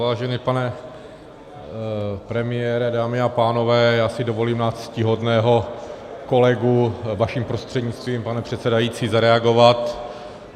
Vážený pane premiére, dámy a pánové, já si dovolím na ctihodného kolegu vaším prostřednictvím, pane předsedající, zareagovat.